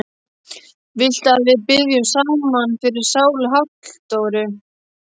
Viltu að við biðjum saman fyrir sálu Halldóru?